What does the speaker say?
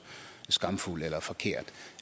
skamfuld eller forkert